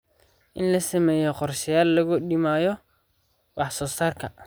In la sameeyo qorshayaal lagu dhimayo wax soo saarka.